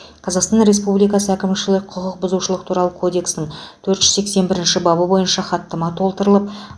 қазақстан республикасы әкімшілік құқық бұзушылық туралы кодексінің төрт жүз сексен бірінші бабы бойынша хаттама толтырылып